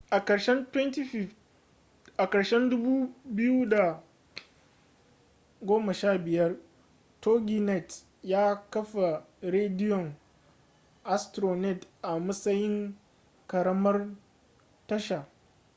a karshen 2015 toginet ya kafa rediyon astronet a matsayin ƙaramar tasha